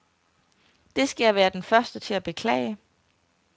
Det skal jeg være den første til at beklage.